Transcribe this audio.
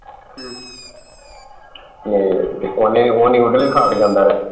ਤੇ ਓਹਨੇ ਓਹਨੇ ਜਾਂਦਾ ਰਿਹਾ